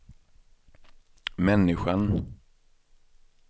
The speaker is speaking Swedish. människan